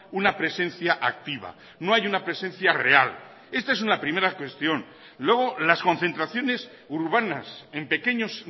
una presencia activa no hay una presencia real esta es una primera cuestión luego las concentraciones urbanas en pequeños